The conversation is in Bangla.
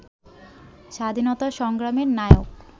স্বাধীনতা সংগ্রামের নায়ক